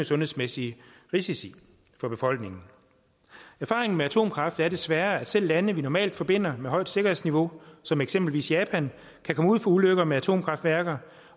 sundhedsmæssige risici for befolkningen erfaringen med atomkraft er desværre at selv lande vi normalt forbinder med højt sikkerhedsniveau som eksempelvis japan kan komme ud for ulykker med atomkraftværker